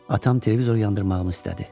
Atam televizor yandırmağımı istədi.